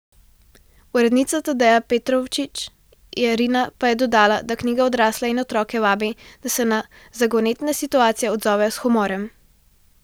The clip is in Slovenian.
Urednica Tadeja Petrovčič Jerina pa je dodala, da knjiga odrasle in otroke vabi, da se na zagonetne situacije odzovejo s humorjem.